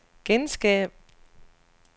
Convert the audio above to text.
genskab